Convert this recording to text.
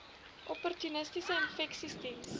opportunistiese infeksies diens